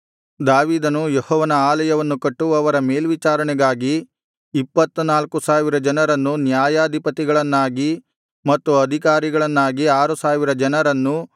ದಾವೀದನು ಯೆಹೋವನ ಆಲಯವನ್ನು ಕಟ್ಟುವವರ ಮೇಲ್ವಿಚಾರಣೆಗಾಗಿ ಇಪ್ಪತ್ತ ನಾಲ್ಕು ಸಾವಿರ ಜನರನ್ನು ನ್ಯಾಯಾಧಿಪತಿಗಳನ್ನಾಗಿ ಮತ್ತು ಅಧಿಕಾರಿಗಳನ್ನಾಗಿ ಆರು ಸಾವಿರ ಜನರನ್ನು